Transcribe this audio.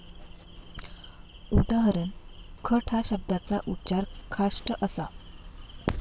उदा. खट या शब्दाचा उच्चार खाष्ट असा.